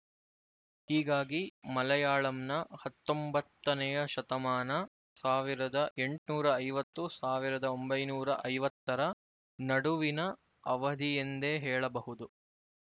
ಹೀಗಾಗಿ ಮಲಯಾಳಂನ ಹತ್ತೊಂಬತ್ತನೆಯ ಶತಮಾನ ಸಾವಿರದ ಎಂಟುನೂರ ಐವತ್ತು ಸಾವಿರದ ಒಂಬೈನೂರ ಐವತ್ತು ರ ನಡುವಿನ ಅವಧಿಯೆಂದೇ ಹೇಳಬಹುದು